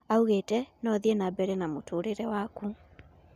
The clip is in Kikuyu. Augete ,:No ũthie nambere na mũtũrĩre wakũ